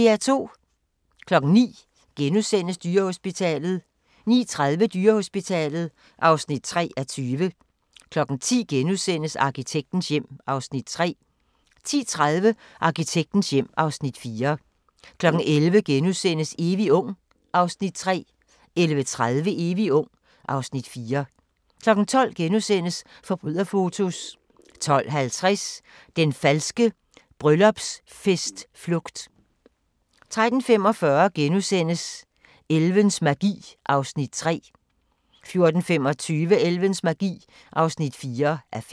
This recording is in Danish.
09:00: Dyrehospitalet * 09:30: Dyrehospitalet (3:20) 10:00: Arkitektens hjem (Afs. 3)* 10:30: Arkitektens hjem (Afs. 4) 11:00: Evig ung (Afs. 3)* 11:30: Evig ung (Afs. 4) 12:00: Forbryderfotos * 12:50: Den falske bryllupsfest-flugt 13:45: Elvens magi (3:5)* 14:25: Elvens magi (4:5)